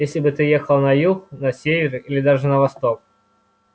если бы ты ехал на юг на север или даже на восток